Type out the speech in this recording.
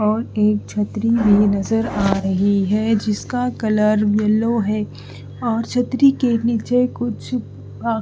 और एक छतरी भी नजर आ रही है जिसका कलर येलो है और छतरी के नीचे कुछ अ--